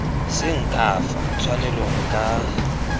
seng ka fa tshwanelong ka